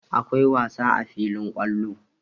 Akwai wasa a filin kwallo.